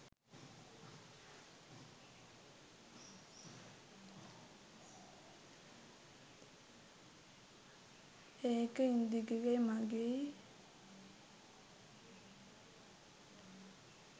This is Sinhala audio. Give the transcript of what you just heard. ඒක ඉන්දිකගෙයි මගෙයි